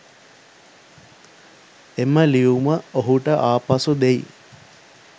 එම ලියුම ඔහුට ආපසු දෙයි.